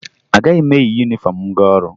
Agaghị m eyi yunifọmụ m gaa ọrụ